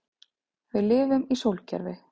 Við lifum í sólkerfi.